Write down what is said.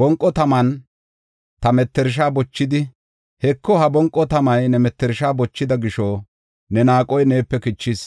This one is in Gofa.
Bonqo taman ta mettersha bochidi, “Heko; ha bonqo tamay ne mettershay bochida gisho ne naaqoy neepe kichis;